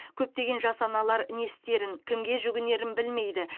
көптеген жас аналар не істерін кімге жүгінерін білмейді